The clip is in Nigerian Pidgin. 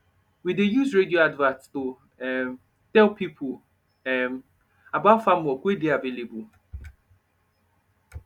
we dey use radio advert to um tell pipo um about farm work wey dey available